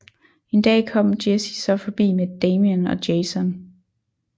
En dag kom Jessie så forbi med Damien og Jason